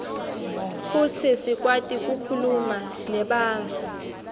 futsi sikwati kukhuluma nebantfu